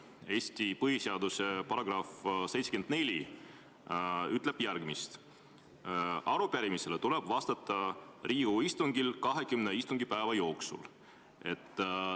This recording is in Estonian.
Eesti põhiseaduse § 74 ütleb järgmist: "Arupärimisele tuleb vastata Riigikogu istungil kahekümne istungipäeva jooksul.